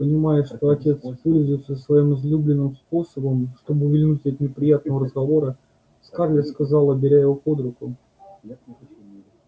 понимая что отец пользуется своим излюбленным способом чтобы увильнуть от неприятного разговора скарлетт сказала беря его под руку